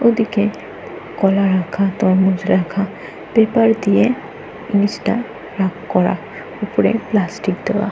ওদিকে কলা রাখা তরমুজ রাখা। পেপার দিয়ে নিচটা ভাগ করা। উপরে প্লাস্টিক দেওয়া।